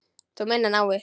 Þú meinar náið?